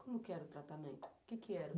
Como que era o tratamento? O que que era?